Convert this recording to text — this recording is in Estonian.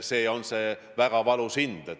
See on väga valus hind.